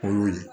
Olu ye